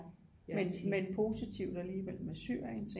Men men positivt alligevel med Syrien